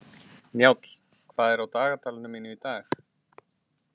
Njáll, hvað er á dagatalinu mínu í dag?